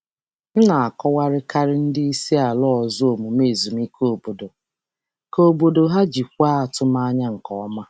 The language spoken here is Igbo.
Ana m akọwakarị omume ezumike obodo nye ndị oga si mba ọzọ iji jikwaa atụmanya nke ọma.